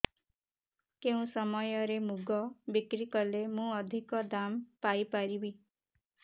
କେଉଁ ସମୟରେ ମୁଗ ବିକ୍ରି କଲେ ମୁଁ ଅଧିକ ଦାମ୍ ପାଇ ପାରିବି